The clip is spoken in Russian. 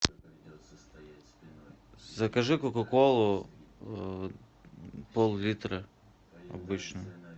закажи кока колу поллитра обычную